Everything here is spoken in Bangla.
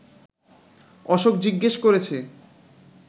অশোক জিজ্ঞেস করেছে